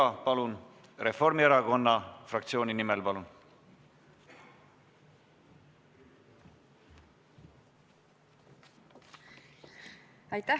Heidy Purga Reformierakonna fraktsiooni nimel, palun!